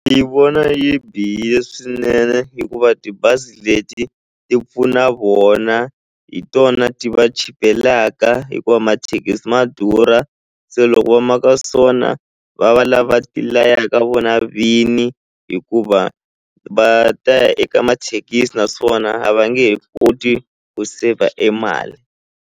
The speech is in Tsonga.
Yi vona yi bihile swinene hikuva tibazi leti ti pfuna vona hi tona ti va chipelaka hikuva mathekisi ma durha se loko va maka so na va va lava ti layaka vona vini hikuva va ta ya eka mathekisi naswona a va nge he koti ku saver e mali.